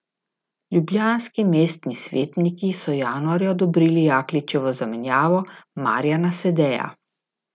Ljubljanski mestni svetniki so januarja odobrili Jakličevo zamenjavo, Marjana Sedeja.